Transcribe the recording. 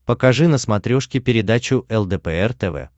покажи на смотрешке передачу лдпр тв